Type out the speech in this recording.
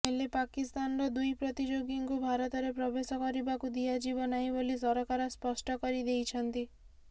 ହେଲେ ପାକିସ୍ତାନର ଦୁଇ ପ୍ରତିଯୋଗୀଙ୍କୁ ଭାରତରେ ପ୍ରବେଶ କରିବାକୁ ଦିଆଯିବ ନାହିଁ ବୋଲି ସରକାର ସ୍ପଷ୍ଟ କରି ଦେଇଛନ୍ତି